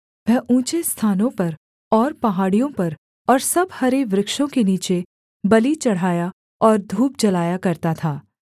वह ऊँचे स्थानों पर और पहाड़ियों पर और सब हरे वृक्षों के नीचे बलि चढ़ाया और धूप जलाया करता था